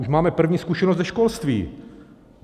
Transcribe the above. Už máme první zkušenost ze školství.